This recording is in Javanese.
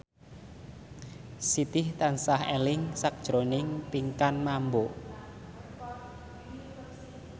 Siti tansah eling sakjroning Pinkan Mambo